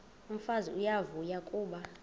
umfazi uyavuya kuba